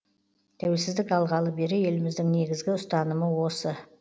тәуелсіздік алғалы бері еліміздің негізгі ұстанымы осы